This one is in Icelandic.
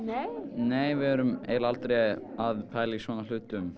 nei við erum eiginlega aldrei að pæla í svona hlutum